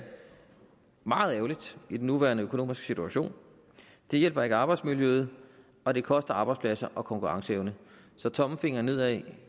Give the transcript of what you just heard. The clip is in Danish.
meget ærgerligt i den nuværende økonomiske situation det hjælper ikke arbejdsmiljøet og det koster arbejdspladser og konkurrenceevne så tommelfingeren nedad